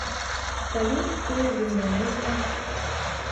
салют кто из индонезия